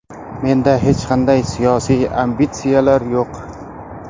Menda hech qanday siyosiy ambitsiyalar yo‘q.